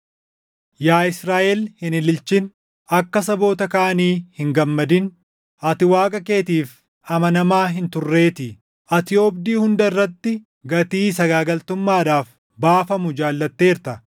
Yaa Israaʼel hin ililchin; akka saboota kaanii hin gammadin. Ati Waaqa keetiif amanamaa hin turreetii; ati oobdii hunda irratti gatii sagaagaltummaadhaaf baafamu jaallatteerta.